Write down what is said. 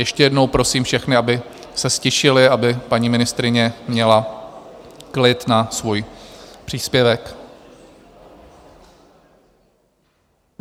Ještě jednou prosím všechny, aby se ztišili, aby paní ministryně měla klid na svůj příspěvek.